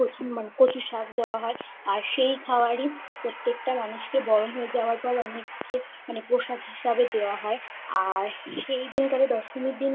একটু কচু কচুর শাক দেওয়া হয় আর সেই খাওয়ারই প্রত্যেকটা মানুষ কে বরণ হয়ে যাওয়ার পর অনেক কে মানে প্রসাদ হিসাবে দেওয়া হয় আর সেই দিন থেকে দশমীর দিনই